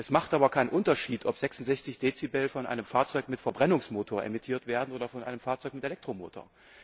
Es macht aber keinen Unterschied, ob 66 Dezibel von einem Fahrzeug mit Verbrennungsmotor emittiert werden oder von einem Fahrzeug mit Elektromotor.